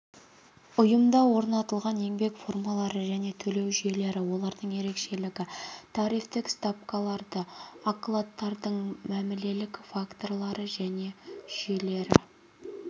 ұйымда орнатылған еңбек формалары және төлеу жүйелері олардың ерекшелігі тарифтік ставкаларды окладтардың мәмілелік формалары және жүйелері